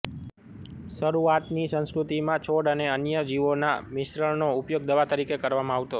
શરૂઆતની સંસ્કૃતિમાં છોડ અને અન્ય જીવોના મિશ્રણનો ઉપયોગ દવા તરીકે કરવામાં આવતો